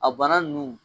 A bana nunnu